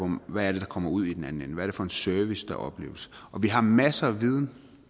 hvad der kommer ud i den anden ende hvad det er for en service der opleves og vi har masser af viden